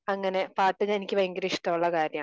അങ്ങനെ പാട്ട് എനിക്ക് ഭയങ്കര ഇഷ്ടം ഉള്ള കാര്യമാണ്